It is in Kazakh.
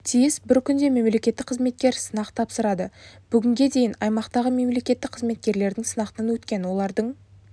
тиіс бір күнде мемлекеттік қызметкер сынақ тапсырады бүгінге дейін аймақтағы мемлекеттік қызметкерлердің сынақтан өткен олардың